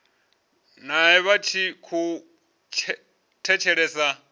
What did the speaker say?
nae vha tshi khou thetshelesa